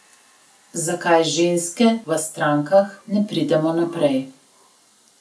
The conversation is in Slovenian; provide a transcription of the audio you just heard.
Zakaj ženske v strankah ne pridemo naprej?